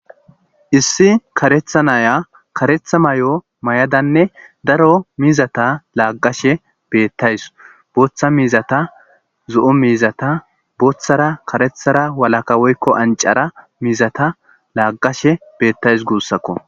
issi karetha naya karetha mayo mayadanne daro mizata laaggashe beettays booththa mizata zo'o miizata booththara karethara walaka woykko ancara mizata laaqashe beettays guussakko